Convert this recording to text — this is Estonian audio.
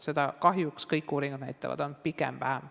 Seda on kahjuks – kõik uuringud seda näitavad – pigem vähem.